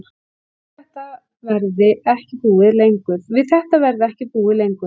Við þetta verði ekki búið lengur